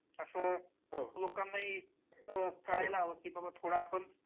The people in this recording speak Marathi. असं लोकांनाही कळायला हवं की बाबा आपण